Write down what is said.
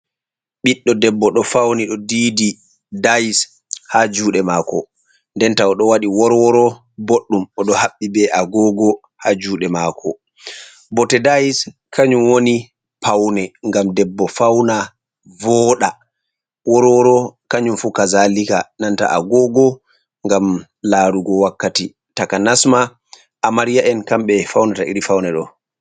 ɓiɗdo debbo do fauni ɗo diidi dais ha juɗe mako, ndenta o do waɗi worworo boɗɗum, o do haɓɓi be agoogo ha juɗe mako, bote dais kanjum woni paune ngam debbo fauna vooda, worworo kanjum fu kazalika, nanta agogo ngam larugo wakkati taka nasma amarya'en kambe faunata iri faune ɗo.